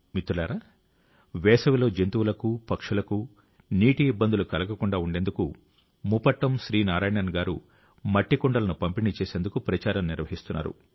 మిత్రులారా వేసవిలో జంతువులకు పక్షులకు నీటి ఇబ్బందులు కలగకుండా ఉండేందుకు ముపట్టం శ్రీ నారాయణన్ గారు మట్టి కుండలను పంపిణీ చేసేందుకు ప్రచారం నిర్వహిస్తున్నారు